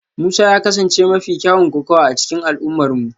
Musa ya kasance mafi kyawun kokawa a cikin al'ummarmu